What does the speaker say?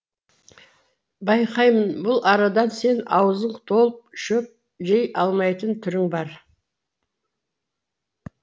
байқаймын бұл арадан сен аузың толып шөп жей алмайтын түрің бар